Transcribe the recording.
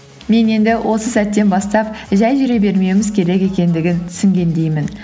мен енді осы сәттен бастап жай жүре бермеуіміз керек екендігін түсінгендеймін